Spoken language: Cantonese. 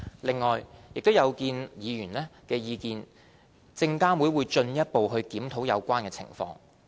另外，有見及議員的意見，證監會已進一步檢討有關情況。